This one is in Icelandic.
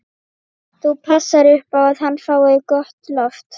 Þú passar upp á að hann fái gott loft.